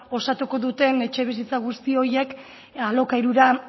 osatuko duten etxebizitza guzti horiek alokairura